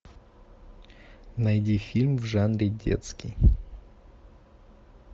найди фильм в жанре детский